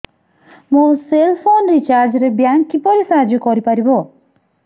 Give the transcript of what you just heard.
ମୋ cell phone recharge ରେ bank କିପରି ସାହାଯ୍ୟ କରିପାରିବ